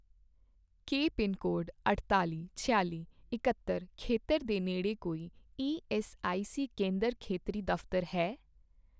ਕੀ pin code ਅਠਤਾਲ਼ੀ, ਛਿਆਲੀ, ਇਕਹੱਤਰ ਖੇਤਰ ਦੇ ਨੇੜੇ ਕੋਈ ਈਐੱਸਆਈਸੀ ਕੇਂਦਰ ਖੇਤਰੀ ਦਫ਼ਤਰ ਹੈ?